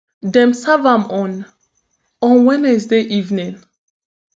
dem serve am on on wednesday evening